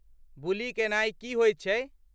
बुली केनाई की होइत छै?